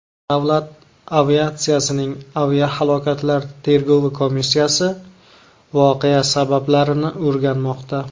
Davlat aviatsiyasining aviahalokatlar tergovi komissiyasi voqea sabablarini o‘rganmoqda.